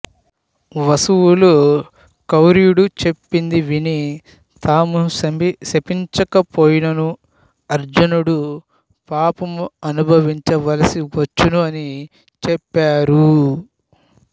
వసువులు కౌరవ్యుడు చెప్పినది విని తాము శపించకపోయిననూ అర్జునుడు పాపము అనుభవించ వలసి వచ్చును అని చెప్పారు